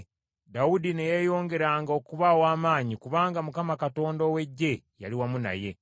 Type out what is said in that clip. Dawudi ne yeeyongeranga okuba ow’amaanyi kubanga Mukama Katonda ow’Eggye yali wamu naye.